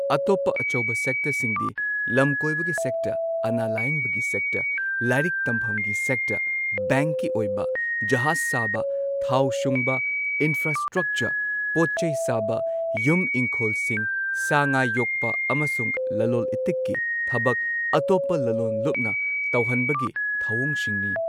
ꯑꯇꯣꯞꯄ ꯑꯆꯧꯕ ꯁꯦꯛꯇꯔꯁꯤꯡꯗꯤ ꯂꯝꯀꯣꯏꯕꯒꯤ ꯁꯦꯛꯇꯔ, ꯑꯅꯥ ꯂꯥꯌꯦꯡꯕꯒꯤ ꯁꯦꯛꯇꯔ, ꯂꯥꯏꯔꯤꯛ ꯇꯝꯐꯝꯒꯤ ꯁꯦꯛꯇꯔ, ꯕꯦꯡꯛꯀꯤ ꯑꯣꯏꯕ, ꯖꯍꯥꯖ ꯁꯥꯕ, ꯊꯥꯎ ꯁꯨꯡꯕ, ꯏꯟꯐ꯭ꯔꯥꯁꯇ꯭ꯔꯛꯆꯔ, ꯄꯣꯠ ꯆꯩ ꯁꯥꯕ, ꯌꯨꯝ ꯏꯪꯈꯣꯜꯁꯤꯡ, ꯁꯥ ꯉꯥ ꯌꯣꯛꯄ, ꯑꯃꯁꯨꯡ ꯂꯂꯣꯟ ꯏꯇꯤꯛꯀꯤ ꯊꯕꯛ ꯑꯇꯣꯞꯄ ꯂꯂꯣꯟꯂꯨꯞꯅ ꯇꯧꯍꯟꯕꯒꯤ ꯊꯧꯑꯣꯡꯁꯤꯡꯅꯤ꯫